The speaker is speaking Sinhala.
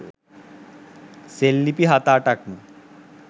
සෙල්ලිපි හත අටක් ම